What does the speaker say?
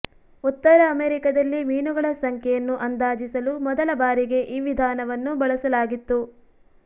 ಉತ್ತರ ಅಮೆರಿಕದಲ್ಲಿ ಮೀನುಗಳ ಸಂಖ್ಯೆಯನ್ನು ಅಂದಾಜಿಸಲು ಮೊದಲ ಬಾರಿಗೆ ಈ ವಿಧಾನವನ್ನು ಬಳಸಲಾಗಿತ್ತು